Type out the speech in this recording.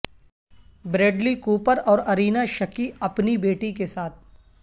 Bradley Cooper اور Irina Shayk اپنی بیٹی کے ساتھ